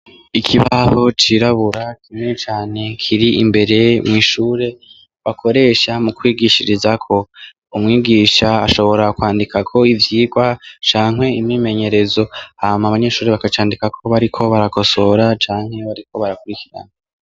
Ikibaho cirabura kimwe cane kiri imbere mu ishure bakoresha mu kwigishiriza ko umwigisha ashobora kwandika ko ivyigwa cankwe imimenyerezo hama abanyeshuri bakacandika ko bariko barakosohora cankwe bariko barakurikirana.